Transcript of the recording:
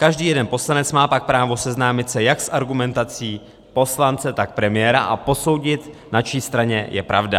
Každý jeden poslanec má pak právo seznámit se jak s argumentací poslance, tak premiéra a posoudit, na čí straně je pravda.